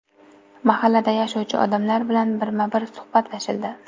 Mahallada yashovchi odamlar bilan birma-bir suhbatlashildi.